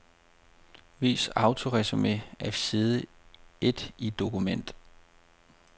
Vis autoresumé af side et i dette dokument.